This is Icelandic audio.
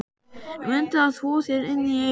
Mundu að þvo þér inni í eyrunum.